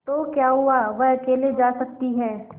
तो क्या हुआवह अकेले जा सकती है